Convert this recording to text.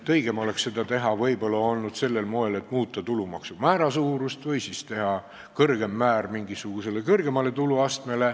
Õigem oleks olnud seda teha võib-olla sellel moel, et muuta tulumaksu määra suurust või siis teha kõrgem määr mingisugusele kõrgemale tuluastmele.